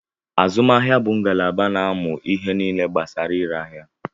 Azụmahịa bu ngalaba na-amụ ihe nile gbasara ire aḥia